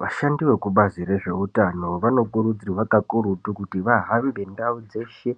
Vashandi vekubazi rezveutano vanokurudzirwa kakurutu kuti vahambe ndau dzeshe